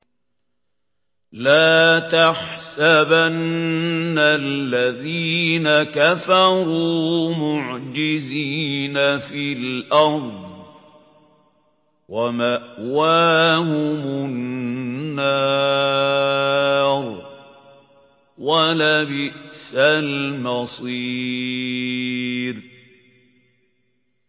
لَا تَحْسَبَنَّ الَّذِينَ كَفَرُوا مُعْجِزِينَ فِي الْأَرْضِ ۚ وَمَأْوَاهُمُ النَّارُ ۖ وَلَبِئْسَ الْمَصِيرُ